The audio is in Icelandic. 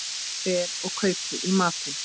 Fer og kaupi í matinn.